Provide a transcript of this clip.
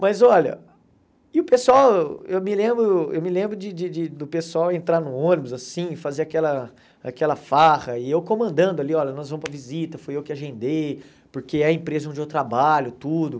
Mas olha, e o pessoal, eu me lembro eu me lembro de de de do pessoal entrar no ônibus assim, e fazer aquela aquela farra, e eu comandando ali, olha, nós vamos para visita, foi eu que agendei, porque é a empresa onde eu trabalho, tudo.